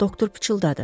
Doktor pıçıldadı.